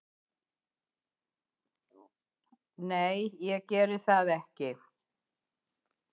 Nei, ég geri það ekki